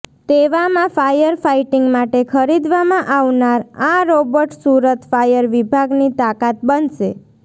તેવામાં fire fighting માટે ખરીદવામાં આવનાર આ રોબટ સુરત ફાયર વિભાગની તાકાત બનશે